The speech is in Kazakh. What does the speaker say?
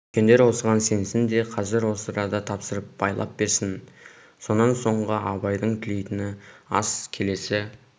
үлкендер осыған сенсін де қазір осы арада тапсырып байлап берсін сонан соңғы абайдың тілейтіні ас келесі